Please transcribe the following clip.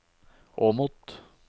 Åmot